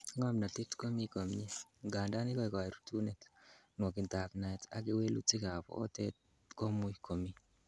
Ng'omnotet komi komie, ngandan ikoekei rutunet, nwokindab naet ak kewelutikab oteb komuch komi.